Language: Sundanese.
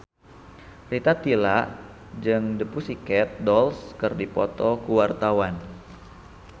Rita Tila jeung The Pussycat Dolls keur dipoto ku wartawan